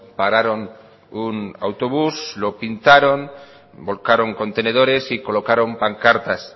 pararon un autobús lo pintaron volcaron contenedores y colocaron pancartas